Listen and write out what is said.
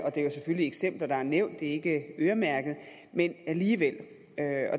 og det er selvfølgelig eksempler der er nævnt ikke øremærket men alligevel